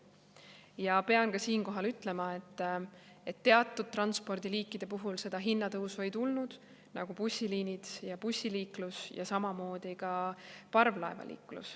Ja pean siinkohal ütlema, et teatud transpordiliikide puhul, nagu bussiliinid ja bussiliiklus ja samamoodi parvlaevaliiklus, seda hinnatõusu ei tulnud.